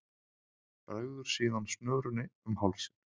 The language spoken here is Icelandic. Bregður síðan snörunni um hálsinn.